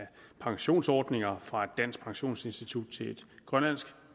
pensionsordninger fra et dansk pensionsinstitut til et grønlandsk